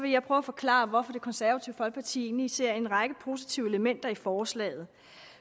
jeg prøve at forklare hvorfor det konservative folkeparti egentlig ser en række positive elementer i forslaget